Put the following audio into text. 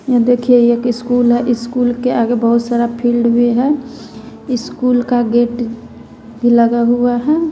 यह देखिए एक स्कूल है स्कूल के आगे बहुत सारा फील्ड भी है स्कूल का गेट भी लगा हुआ है।